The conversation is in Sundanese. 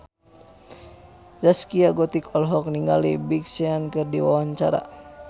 Zaskia Gotik olohok ningali Big Sean keur diwawancara